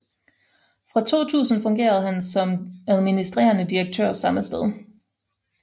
Fra 2000 fungerede han også som administrerende direktør samme sted